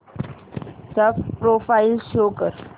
चा profile show कर